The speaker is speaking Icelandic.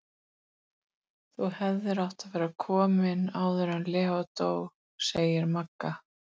Um það bil sem hún fórnaði drottningunni voru þau aftur lögst.